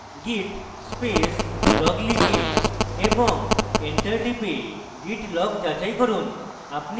git space log লিখে এবং enter টিপে git log যাচাই করুন